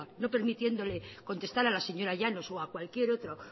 no permitiéndole contestar a la señora llanos o a cualquier otro